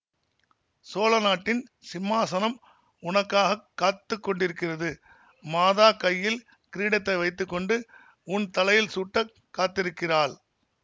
சோழநாட்டின் சிம்மாசனம் உனக்காகக் காத்து கொண்டிருக்கிறது மாதா கையில் கிரீடத்தை வைத்து கொண்டு உன் தலையில் சூட்டக் காத்திருக்கிறாள்